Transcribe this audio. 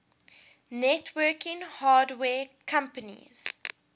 networking hardware companies